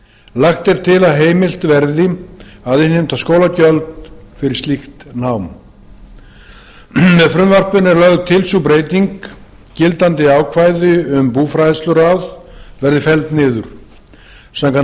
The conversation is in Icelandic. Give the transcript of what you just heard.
lagt er til að heimilt verði að innheimta skólagjöld fyrir slíkt nám með frumvarpinu er lögð til sú breyting að gildandi ákvæði um búfræðsluráð verði felld niður samkvæmt